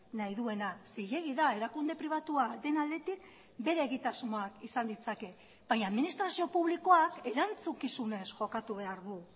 nahi duena zilegi da erakunde pribatua den aldetik bere egitasmoak izan ditzake baina administrazio publikoak erantzukizunez jokatu behar du